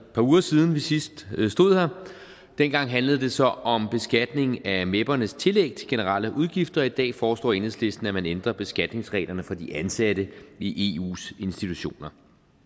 par uger siden vi sidst stod her dengang handlede det så om beskatning af mepernes tillæg til generelle udgifter i dag foreslår enhedslisten at man ændrer beskatningsreglerne for de ansatte i eus institutioner